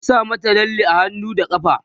ku sa mata lalle a hannu da ƙafa!